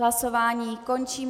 Hlasování končím.